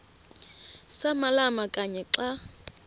samalama kanye xa